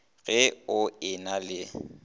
ge o e na le